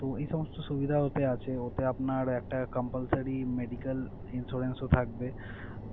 তো এই সমস্ত সুবিধা ওতে আছে। ওতে আপনার একটা compulsory medical insurance ও থাকবে।